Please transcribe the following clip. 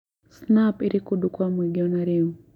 snap iri kũndũ kwa mũingĩ o na rĩu